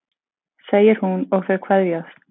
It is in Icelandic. segir hún og þau kveðjast.